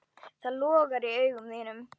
Það logar í augum þínum.